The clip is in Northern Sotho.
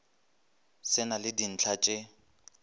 se na le dintlha tše